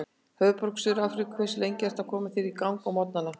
Höfðaborg í Suður-Afríku Hversu lengi ertu að koma þér í gang á morgnanna?